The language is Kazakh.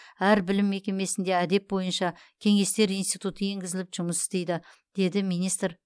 әр білім мекемесінде әдеп бойынша кеңестер институты енгізіліп жұмыс істейді деді министр